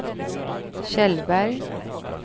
Kjellberg